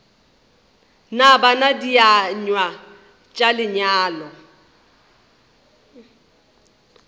na bana dienywa tša lenyalo